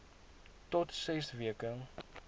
tot ses weke